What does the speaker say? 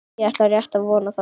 Ég ætla rétt að vona það.